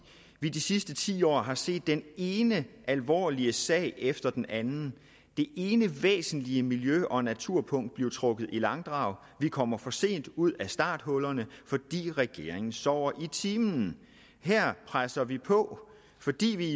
vi de sidste ti år har set den ene alvorlige sag efter den anden det ene væsentlige miljø og naturpunkt blive trukket i langdrag vi kommer for sent ud af starthullerne fordi regeringen sover i timen her presser vi på fordi vi